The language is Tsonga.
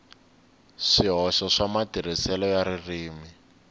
swihoxo swa matirhiselo ya ririmi